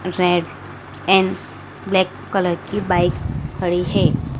Red and black colour की bike खड़ी है।